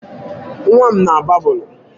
Nwam na a babụlụ.